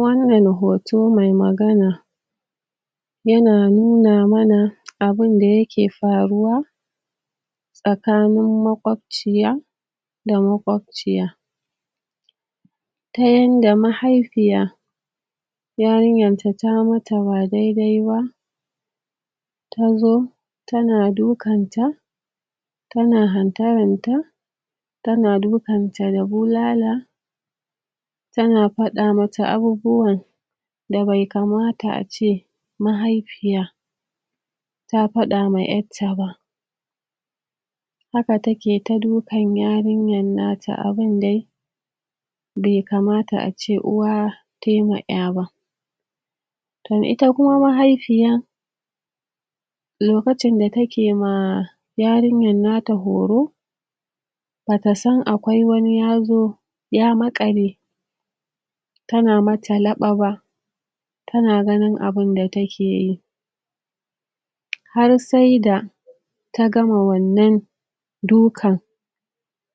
wannan hoto mai magana, yana nuna mana abun da yake faruwa, tsakanin makobciya da makobciya ta yanda mahaifiya yarin yanta ta mata ba daidaiba, tazo tana dukanta tana hantaranta tana dukanta da bulala, tana fada mata abubuwan da be kamata ace mahaifiya ta fada ma ƴarta ba haka take ta dukan yarinyan nata abun dai be kamata ace uwa tayi ma ƴaba to ita kuma mahaifiyan, lokacinda take ma yarinyan nata horo, batasan akwai wani yazo ya makale tana mata laɓa ba tana ganin abunda takeyi, har saida ta gama wannan dukan,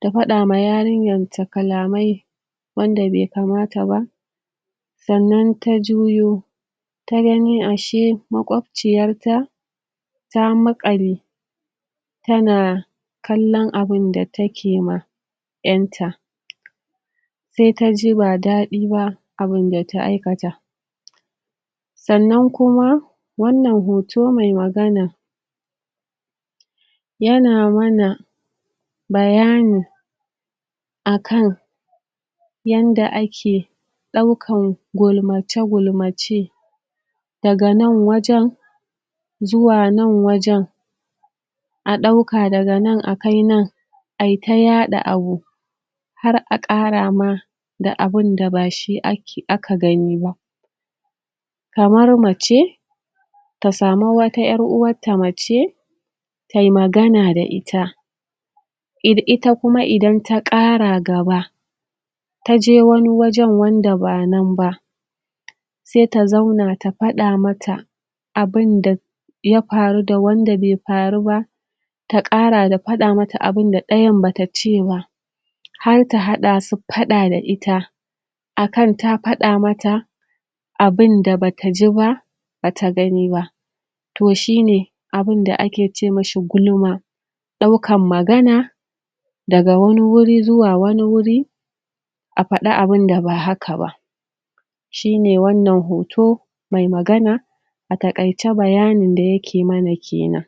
tafada wa yarinyanta kalamai wanda be kamataba, sa'anan ta juyo tagani ashe makwabciyarta ta makale tana kallan abunda take ma ƴanta sai taji ba dadi ba abunda ta aikata. Sa'anan kuma wannan hoto mai magana, yana mana bayani akan yanda ake daukan gulmace gulmace, daga nan wajan zuwa nan wajan, adauka daga nan akai nan ayita yada abu har akara ma da abunda ba shi ake, aka ganiba kamar mace tasamu wata ƴar'uwarta mace taiyi magana da ita ir ita idan ta kara gaba, taje wani wajan wanda ba nan ba, saita zauna ta fada mata abunda yafaru da wanda be faru ba, ta kara da fada mata abunda dayan bata ceba, har ta hadasu fada da ita, akan ta fada mata abunda bata jiba bata ganiba. Toh shine abunda ake ce mishi gulma, daukan magana daga wani wuri zuwa wani wuri afada abunda ba haka ba shine wannan hoto mai magana atakaice bayanin da yake mana kenan.